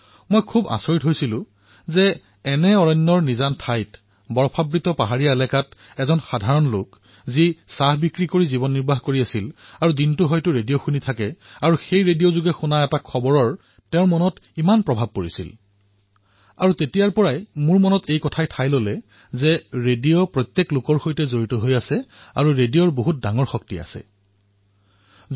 মই আচৰিত হলো যে এই হাবিতলীয়া অঞ্চলত বৰফৰ পাহাৰৰ মাহত এজন সাধাৰণ মানুহে যি এই চাহৰ ঠেলা লৈ নিজৰ কাম কৰি আছে আৰু দিনটো ৰেডিঅ শুনি আছে আৰু সেই ৰেডিঅৰ খবৰে তেওঁৰ মনত এনে প্ৰভাৱ পেলাইছিল ইমানেই প্ৰভাৱ পেলাইছিল যে মোৰ মনত এক সাঁচ বহি গল যে ৰেডিঅ জনসাধাৰণৰ সৈতে জড়িত হৈ আছে আৰু ৰেডিঅৰ এক সাংঘাটিক শক্তিশালী প্ৰভাৱ আছে